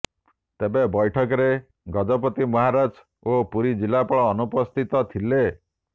ତେବେ ବୈଠକରେ ଗଜପତି ମହାରାଜ ଓ ପୁରୀ ଜିଲ୍ଲାପାଳ ଅନୁପସ୍ଥିତ ଥିଲେ